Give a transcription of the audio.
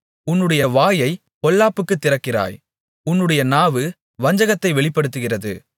உன்னுடைய வாயைப் பொல்லாப்புக்குத் திறக்கிறாய் உன்னுடைய நாவு வஞ்சகத்தை வெளிப்படுத்துகிறது